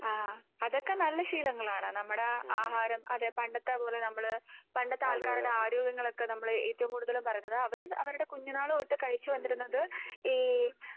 .അതൊക്കെ നല്ല ശീലങ്ങളാണ് നമ്മുടെ ആഹാരം അതെ പണ്ടത്തെ പോലെ നമ്മള് പണ്ടത്തെ ആൾക്കാരുടെ ആരോഗ്യങ്ങളൊക്കെ നമ്മള് ഏറ്റവും കൂടുതൽ പറയുന്നത് അവര് അവരുടെ കുഞ്ഞുനാള് തൊട്ട് കഴിച്ച് വന്നിരുന്നത്.